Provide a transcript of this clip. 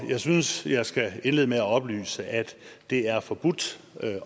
jeg synes jeg skal indlede med at oplyse at det er forbudt